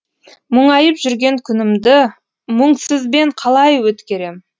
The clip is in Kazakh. мұңайып жүрген күнімді мұңсызбен қалай өткерем